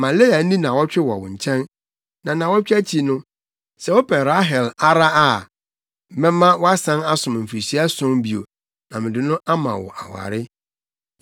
Ma Lea nni nnaawɔtwe wɔ wo nkyɛn, na nnaawɔtwe no akyi no, sɛ wopɛ Rahel ara a, mɛma woasan asom mfirihyia ason bio, na mede no ama wo aware.”